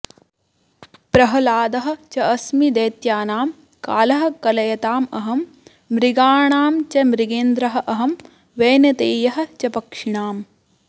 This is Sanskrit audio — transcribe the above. प्रह्लादः च अस्मि दैत्यानां कालः कलयताम् अहम् मृगाणां च मृगेन्द्रः अहं वैनतेयः च पक्षिणाम्